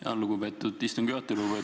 Tänan, lugupeetud istungi juhataja!